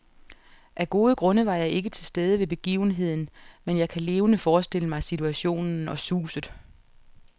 Af gode grunde var jeg ikke til stede ved begivenheden, men jeg kan levende forestille mig situationen og suset.